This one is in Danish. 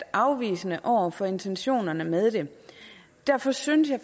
afvisende over for intentionerne med det derfor synes jeg